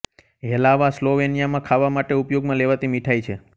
હેલાવા સ્લોવેનિયામાં ખાવા માટે ઉપયોગમાં લેવાતી મીઠાઈ છે